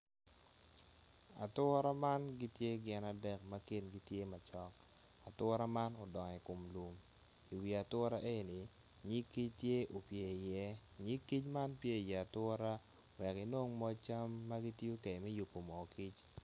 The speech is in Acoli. Atura man gitye gin adek ma kingi tye macok atura man udongo i kom lum i wi atura eni nyig kic tye upye iye nyig kic man pye i iatura wek inongo moc cam ma gitiyo kede me yubo moo kic